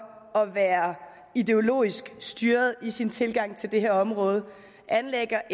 at være ideologisk styret i sin tilgang til det her område anlægger